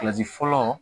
Kilasi fɔlɔ